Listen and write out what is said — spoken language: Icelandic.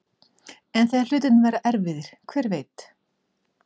En þegar hlutirnir verða erfiðir, hver veit?